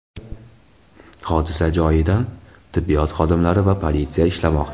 Hodisa joyida tibbiyot xodimlari va politsiya ishlamoqda.